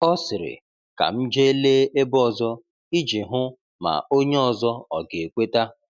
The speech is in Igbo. O sịrị, “Ka m jee lee ebe ọzọ,” iji hụ ma onye ọzọ ọga ekweta.